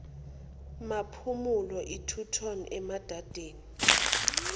maphumulo eturton emadadeni